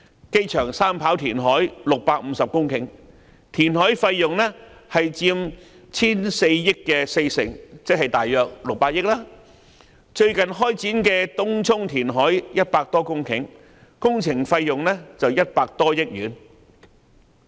機場三跑填海650公頃，填海費用佔 1,400 億元的四成，即約億元，而最近開展的東涌填海多公頃，工程費用為100多億元。